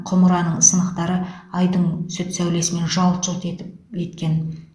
құмыраның сынықтары айдың сүт сәулесімен жалт жұлт етіп еткен